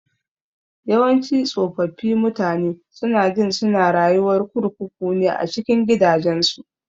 Yawanci tsofaffi mutane sunajin suna rayuwar kurkuku ne a cikin gidajensu.